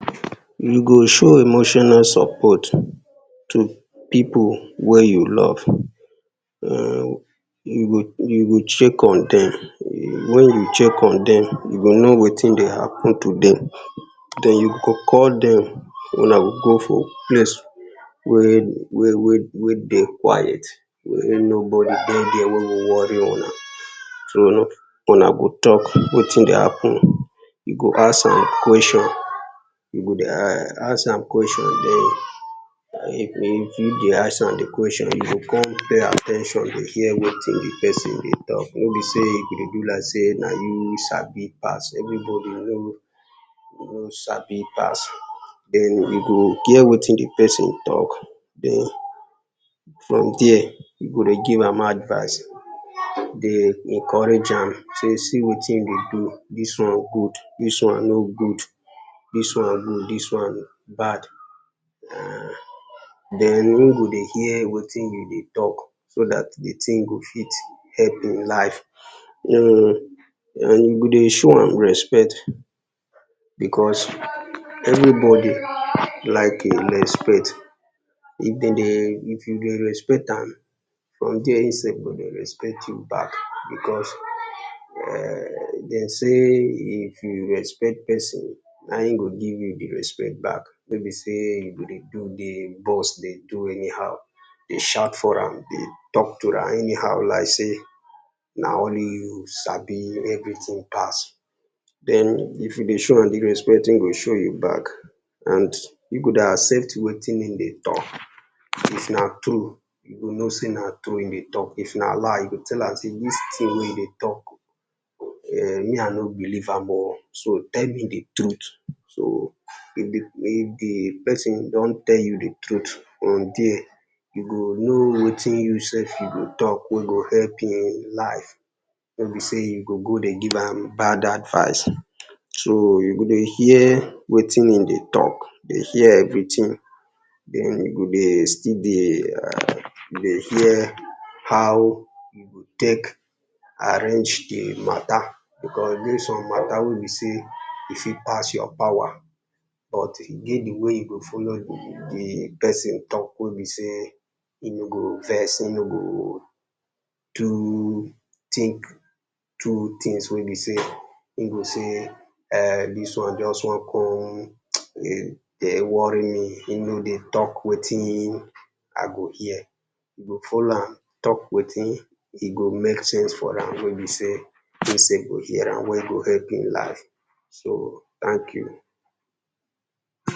You go show emotional support to people wey you love, you go check on dem, wen you check on dem you go know wetin dey happen to dem, den you go call dem, una go go for place wey wey wey wey dey quiet, wey nobody dey there wey go worry una, so una go talk wetin dey happen, you go ask am question, you go ask am question den if you dey ask am di question you go come pay at ten tion dey hear wetin di person dey talk. No be sey you go dey do like sey na you sabi pass, everybody no sabi pass. Soo you go hear wetin di person talk, den from there you go dey give am advice, dey encourage am, sey see wetin in dey do dis one good, dis one no good, dis one good dis one bad, [urn] den in go dey hear wetin you dey talk, so dat di thing go help in life, and you go dey show am respect because anybody like in respect if dem, if you dey respect am, from there im sef go dey respect you back because dem say if you respect person na im go give you di respect back, nor be sey you go dey do dey boss dey do anyhow, dey shout for am dey talk to am anyhow, like sey na only you sabi everything pass, den if you dey show am di respect, in go dey show back, and you go dey access wetin in dey talk, if na true you go know sey na truth im dey talk, if na lie you go sey dis t hing wey you dey talk me I no beli e ve am oh, so tell me di truth so if di if di person don tell you di truth, from there you go know wetin you sef go talk wen go help inn life, no be sey you go dey give am bad advice. So you go dey hear wetin in dey talk, dey hear everything, den you still dey dey hear, how you take arrange di matter, because if get some matter wey be sey e fit pass your power, or e get di way wey you go follow di person talk wey be sey in no go vex, in no go too think, do things wey be sey [urn] dis one just one come dey worry me, in no dey talk wetin in I go hear, you go follow am talk wetin in go make sense for am, wen be sey in sef go hear am well well, in go help in life, so thank you.